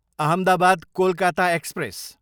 Ahmedabad, Kolkata express